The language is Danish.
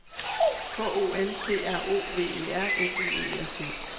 K O N T R O V E R S I E L T